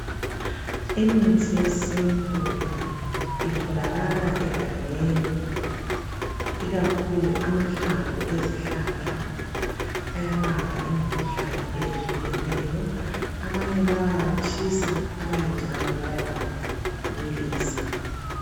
Imithi yesintu itholakala egangeni ikakhulu amahlamvu ezihlahla ayalapha imikhuhlane ehlukeneyo. Abanye bayawatshisa abanye njalo bayawabilisa.